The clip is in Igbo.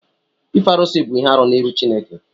ịfe arụsị bụ ihe-árụ n'iru Chineke